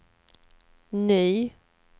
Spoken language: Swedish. ny